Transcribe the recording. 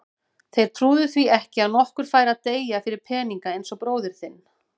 Þeir trúðu því ekki að nokkur færi að deyja fyrir peninga eins og bróðir þinn.